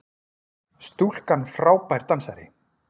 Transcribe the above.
Stúlkan frábær dansari!